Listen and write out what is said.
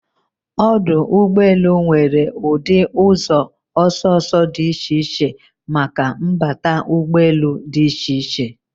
Ọdụ ụgbọ elu nwere ụdị ụzọ ọsọ ọsọ dị iche iche maka nnbata ụgbọ elu dị iche iche